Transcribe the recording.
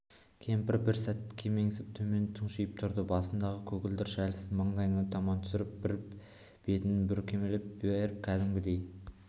кемпір бір сәт кемсеңдеп төмен тұқшиып тұрды басындағы көгілдір шәлісін маңдайына таман түсіріп бір бетін бүркемелей беріп кәдімгідей